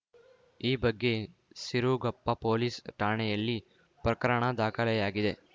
ಈ ಬಗ್ಗೆ ಸಿರುಗಪ್ಪ ಪೊಲೀಸ್‌ ಠಾಣೆಯಲ್ಲಿ ಪ್ರಕರಣ ದಾಖಲೆಯಾಗಿದೆ